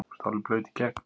þú ert alveg blaut í gegn!